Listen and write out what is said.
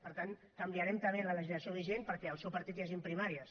per tant canviarem també la legislació vigent perquè al seu partit hi hagin primàries